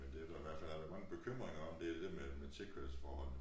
Men det der i hvert fald har været mange bekymringer om det det dér med med tilkørselsforholdene